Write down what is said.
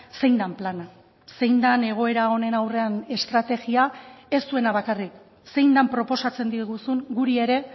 zein den plana zein den egoera honen aurrean estrategia ez zuena bakarrik zein den proposatzen diguzun guri ere